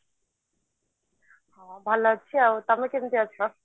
ହଁ ଭଲ ଅଛି ଆଉ ତମେ କେମତି ଅଛ